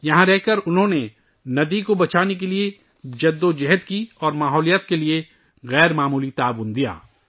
یہاں رہ کر ، انہوں نے دریا کو بچانے کے لئے جدوجہد کی اور ماحولیات کے لئے غیر معمولی تعاون کیا